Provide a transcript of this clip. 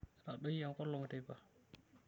Etadoyie enkolong' teipa.